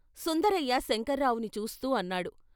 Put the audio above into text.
సుందరయ్య శంకర్రావుని చూస్తూ అన్నాడు.